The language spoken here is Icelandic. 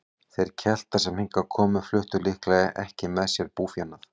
Þeir Keltar sem hingað komu fluttu líklega ekki með sér búfénað.